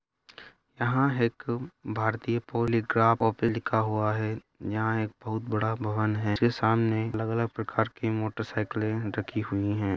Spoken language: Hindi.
यहाँ एक भारतीय पॉलीग्राफ ऑफिस लिखा हुआ है यहाँ एक बहुत बड़ा भवन है उसके सामने अलग-अलग प्रकार के मोटरसाइकिलें रखी हुई हैं।